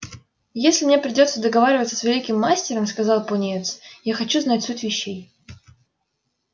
если мне придётся договариваться с великим мастером сказал пониетс я хочу знать суть вещей